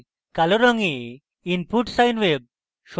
কালো রঙে input sine wave